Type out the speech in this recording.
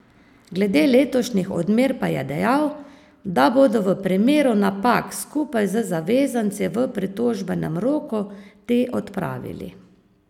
Glede letošnjih odmer pa je dejal, da bodo v primeru napak skupaj z zavezanci v pritožbenem roku te odpravili.